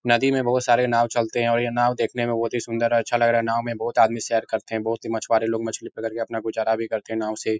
नदी में बहुत सारे नाव चलते हैं और ये नाव देखने में बहोत ही सुन्दर और अच्छा लग रहा है। नाव में बहुत आदमी सैर करते हैं। बहुत ही मछुआरे लोग मछली पकड़ के अपना गुज़ारा भी करते है। नाव से --